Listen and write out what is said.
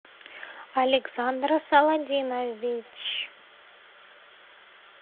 александра саладинович